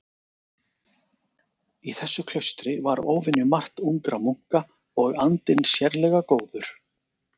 Í þessu klaustri var óvenjumargt ungra munka og andinn sérlega góður.